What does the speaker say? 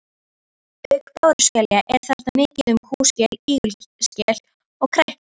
Auk báruskelja er þarna mikið um kúskel, ígulskel og krækling.